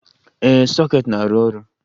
Ee, soket na-arụ ọrụ.